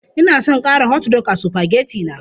Ina son ƙara hotdog a supageti na.